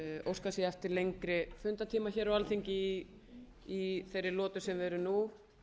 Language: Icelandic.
óskað sé eftir lengri fundartíma hér á alþingi í þeirri lotu sem við erum nú